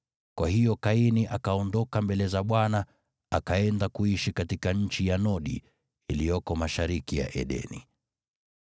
Kwa hiyo Kaini akaondoka mbele za Bwana akaenda kuishi katika nchi ya Nodi, iliyoko mashariki ya Edeni.